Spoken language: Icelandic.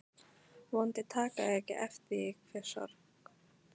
Vonandi taka þau ekki eftir því hve sorg